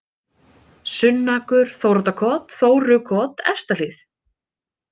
Sunnakur, Þóroddarkot, Þórukot, Efstahlíð